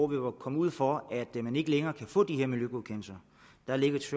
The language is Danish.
vil komme ud for at man ikke længere kan få de her miljøgodkendelser der lægges